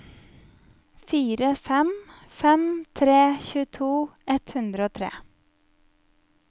fire fem fem tre tjueto ett hundre og tre